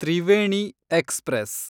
Triveni express